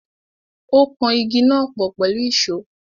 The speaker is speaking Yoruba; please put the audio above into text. Ó kan àwọn Igi náà pọ̀ pẹ̀lú ìsó.